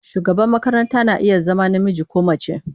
Shugaban makaranta na iya zama namiji ko mace.